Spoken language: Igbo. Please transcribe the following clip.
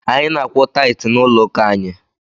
Anyị na-akwụ taịtị n'ụlọ ụka anyị.